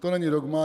To není dogma.